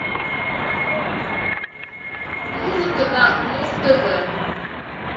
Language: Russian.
музыка на муз тв